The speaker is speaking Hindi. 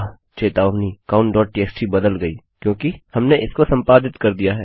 चेतावनी countटीएक्सटी बदल गई हैक्योंकि हमने इसको संपादित कर दिया है